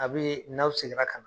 A bi n'aw seginna ka na